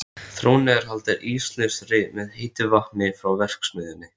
Þrónni er haldið íslausri með heitu vatni frá verksmiðjunni.